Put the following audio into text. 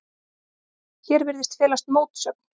Hér virðist felast mótsögn.